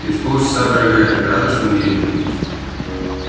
через полчаса дорогая ты рада что мы едем